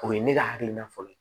O ye ne ka hakilina fɔlɔ ye